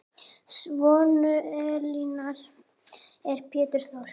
Sonur Elínar er Pétur Þór.